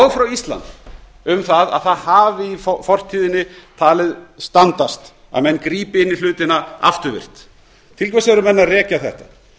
frá íslandi um að það hafi í fortíðinni talist standast að menn grípi inn í hlutina afturvirkt til hvers eru menn að rekja þetta